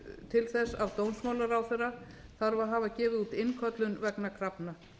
til þess af dómsmálaráðherra þarf að hafa gefið út innköllun vegna krafna